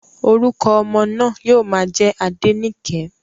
Orúkọ ọmọ náà yóò má jẹ́ Adenike